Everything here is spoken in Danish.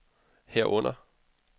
herunder